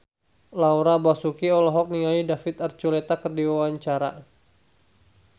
Laura Basuki olohok ningali David Archuletta keur diwawancara